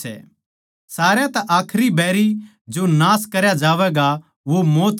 सारया तै आखरी बैरी जो नाश करया जावैगा वो मौत सै